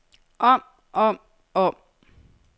om om om